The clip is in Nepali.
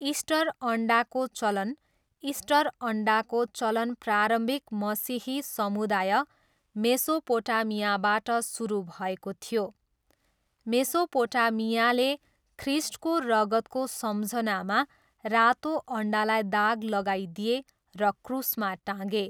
इस्टर अन्डाको चलन इस्टर अन्डाको चलन प्रारम्भिक मसिही समुदाय मेसोपोटामियाबाट सुरु भएको थियो। मेसोपोटामियाले ख्रिस्टको रगतको सम्झनामा रातो अन्डालाई दाग लगाइदिए र क्रुसमा टाँगे।